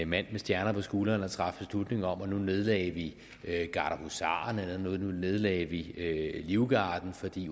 mand med stjerner på skuldrene og traf beslutning om at nu nedlagde vi gardehusarerne eller nu nedlagde vi livgarden fordi